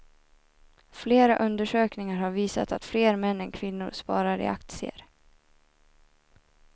Flera undersökningar har visat att fler män än kvinnor sparar i aktier.